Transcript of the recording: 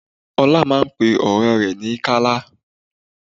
Ọlá máa ń pe ọ̀rẹ́ ní Kala